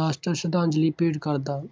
ਰਾਸ਼ਟਰ ਸਰਧਾਂਜ਼ਲੀ ਭੇਂਟ ਕਰਦਾ।